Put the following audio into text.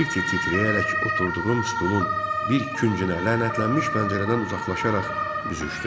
Tir-tir titrəyərək oturduğum stulun bir küncünə lənətlənmiş pəncərədən uzaqlaşaraq büzüşdüm.